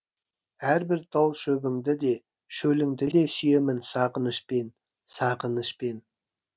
әрбір тал шөбіңді де шөліңді де сүйемін сағынышпен сағынышпен